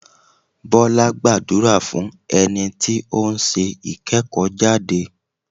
Bọ́lá gbàdúrà fún ẹni tí ó ń ṣe ìkẹ́kọ̀ọ́ jáde.